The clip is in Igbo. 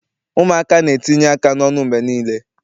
Ụmụaka na-etinye aka n'ọnụ mgbe niile.